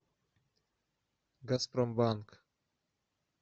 газпромбанк